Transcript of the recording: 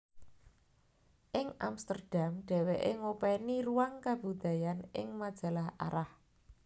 Ing Amsterdam dheweke ngopeni ruang kabudayaan ing majalah Arah